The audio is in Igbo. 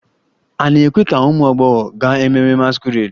A na-ekwe ka ụmụ agbọghọ gaa ememme masquerade?